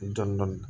Dɔni dɔni